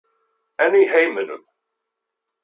En í heiminum?